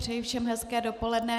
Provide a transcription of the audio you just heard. Přeji všem hezké dopoledne.